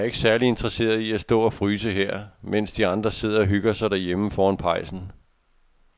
Jeg er ikke særlig interesseret i at stå og fryse her, mens de andre sidder og hygger sig derhjemme foran pejsen.